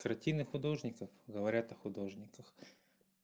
картины художников говорят о художниках